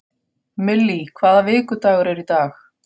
Millý, hvaða vikudagur er í dag?